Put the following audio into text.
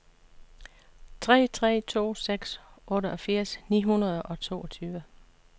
tre tre to seks otteogfirs ni hundrede og toogtyve